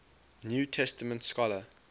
new testament scholar